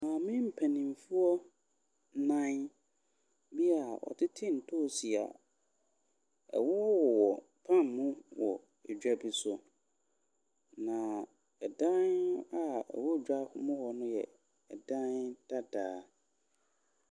Maame mpanimfoɔ, mae bi a ɔtete ntoosi a ɛwowɔwowɔ pan mu wɔ dwa bi so, na dan a ɛwɔ dwam hɔ no yɛ dan dadaa.